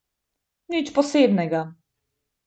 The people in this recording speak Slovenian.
Nič posebnega ...